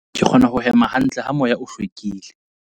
Ke kgona ho hema hantle ha moya o hlwekile.